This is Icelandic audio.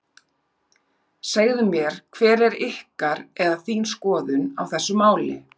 Segðu mér hver er ykkar, eða þín skoðun á þessu máli?